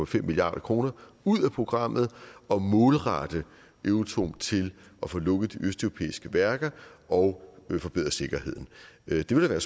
fem milliard kr ud af programmet og målrette euratom til at få lukket de østeuropæiske værker og forbedre sikkerheden det vil da være